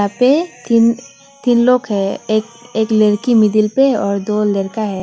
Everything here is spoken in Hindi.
यहाँ पे तीन लोग है एक लड़की में मिडिल पर और दो लड़का है।